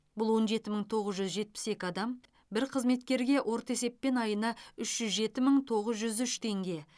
бұл он жеті мың тоғыз жүз жетпіс екі дам бір қызметкерге орта есеппен айына үш жүз жеті мың тоғыз жүз үш теңге